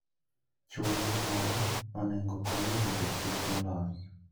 Chwo gi mon onego okony e rito kich molos.